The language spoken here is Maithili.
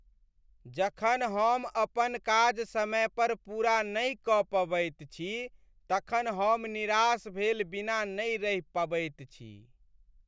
जखन हम अपन काज समय पर पूरा नहि कऽ पबैत छी तखन हम निराश भेल बिना नहि रहि पबैत छी।